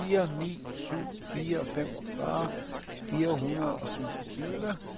fire ni syv fire femogfyrre fire hundrede og syvogtyve